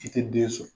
I tɛ den sɔrɔ